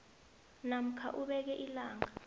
namkha ubeke ilanga